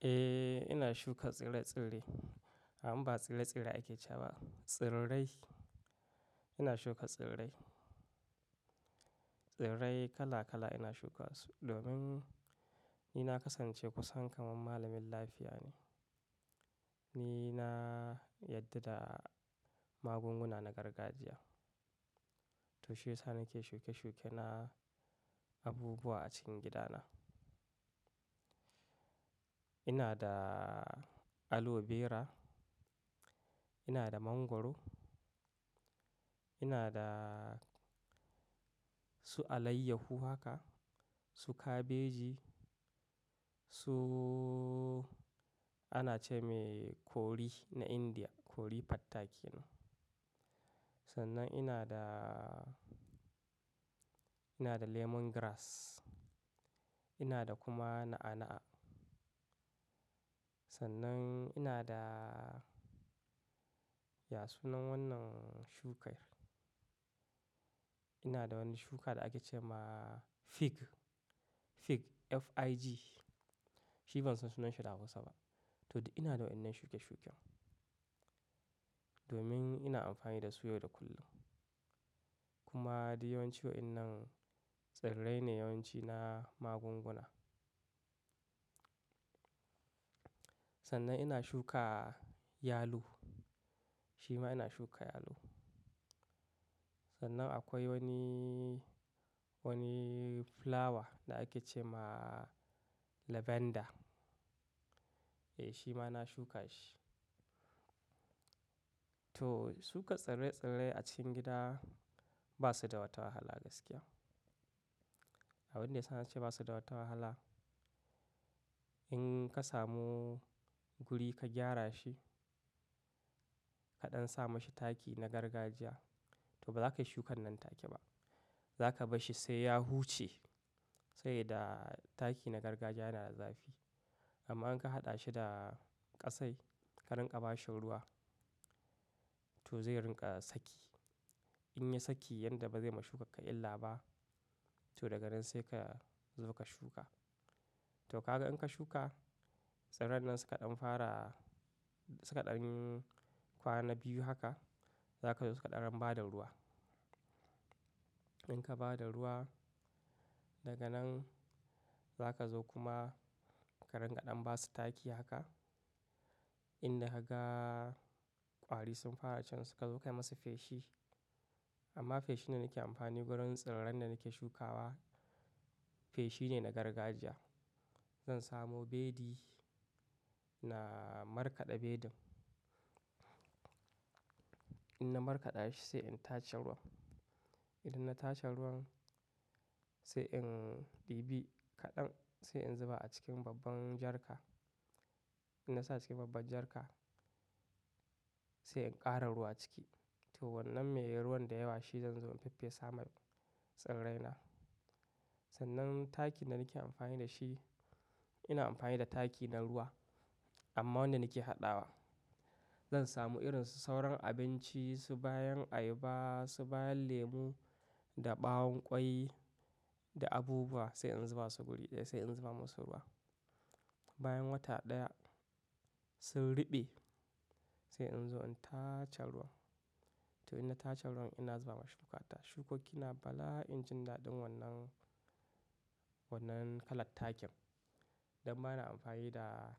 Eh ina shuka tsire-tsire. Amma ba tsire-tsire ake ce ba, tsirrai. Ina shuka tsirrai. Tsirrai kala kala ina shuka su. Domin ni na kasance kusan kamar malamin lafiya ne. Ni na yadda da magunguna na gargajiya. To shi yasa nake shuke-shuke na abubuwa a cikin gidana. Ina da aloe vera, ina da mangwaro, ina da su alayyahu haka, su kabeji, su ana ce mai kori na Indiya, kori fatta kenan Sannan ina da, ina da lemongrass, ina da kuma na'a-na'a. Sannan ina da, ya sunan wannan shukar? Ina da wani shuka da ake ce ma fig, fig, F-I-G. Shi ban san sunan shi da Hausa ba. To di ina da wannan shuke-shuken. Domin ina amfani da su yau da kullum. Kuma duk yawancin waɗannan tsirrai ne yawanci na magunguna. Sannan ina shuka yalo. Shi ma ina shuka yalo. Sannan akwai wani, wani flower da ake ce ma lavender. Eh shi ma na shuka shi. To shuka tsire-tsire a cikin gida ba su da wata wahala gaskiya. Abinda yasa sa na ce ba su da wata wahala, in ka samu guri ka gyara shi, kaɗan sa mashi taki na gargajiya, to ba za ka yi shukan nan take ba. Za ka bashi sai ya huce. Sai yadda taki na gargajiya yana da zafi. Amma in ka haɗa shi da ƙasai, ka rinƙa ba shi ruwa, to zai rinƙa saki. In ya saki yadda ba zai ma shukan ka illa ba, to daga nan sai ka zo ka shuka. To ka ga in ka shuka, tsirran nan suka ɗan fara, suka ɗan kwana biyu haka, za ka zo suka ɗan raba da ruwa. In ka ba da ruwa, daga nan za ka zo kuma ka rinƙa ɗan ba su taki haka. Inda haka ƙwari sun fara can suka zo kai masa feshi. Amma feshi da nake amfani wurin tsirran da nake shukawa, feshi ne na gargajiya. Zan samu beli na markaɗa belin. In na markaɗa shi sai in tace ruwan. Idan na tace ruwan sai in ɗibi kaɗan sai in zuba a cikin babban jarka. In na sa cikin babban jarka sai in ƙara ruwa ciki. To wannan mai ruwan da yawa shi zan zo in faffesa ma tsirrai na. Sannan taki da nake amfani da shi, ina amfani da taki na ruwa. Amma wanda nake haɗawa, zan samu irin sauran abinci su bayan ayaba, su bayan lemu da ɓawon ƙwai da abubuwa sai in zuba su guri ɗaya, sai in zuba musu ruwa. Bayan wata ɗaya sun ruɓe sai in zo in tace ruwan. To in na tace ruwan ina zuba ma shukata. Shukoki na bala'in jin daɗin wannan, wannan kalar takin. Dan bana amfani da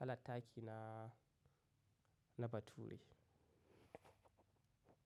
kalar taki na, na bature.